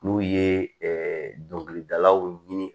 N'u ye ɛɛ dɔnkilidalaw ɲini